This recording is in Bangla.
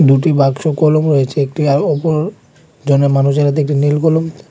দুটি বাক্স কলম রয়েছে একটি এ ওপর জনমানুষের হাতে একটি নীল কলম।